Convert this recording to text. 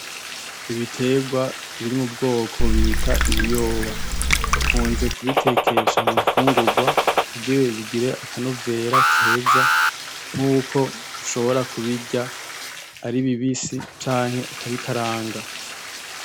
ibiterwa biri m'ubwoko bita ibiyoba. Bakunze kubitekesha munfungurwa kugira bigire akanovera keza nkuko ushobora kubirya aribibisi canke ukabikaranga.